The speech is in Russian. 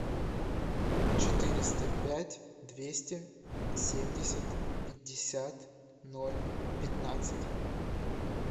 четыреста пять двести семьдесят пятьдесят ноль пятнадцать